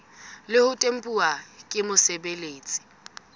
le ho tempuwa ke mosebeletsi